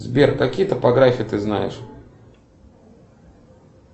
сбер какие топографии ты знаешь